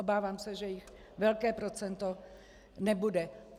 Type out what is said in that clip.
Obávám se, že jich velké procento nebude.